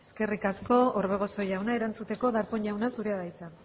eskerrik asko orbegozo jauna erantzuteko darpón jauna zurea da hitza